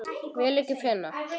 Vil ekki finna.